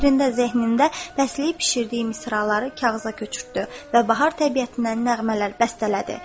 Fikrində, zehnində bəsləyib bişirdiyi misraları kağıza köçürtdü və bahar təbiətinə nəğmələr bəstələdi.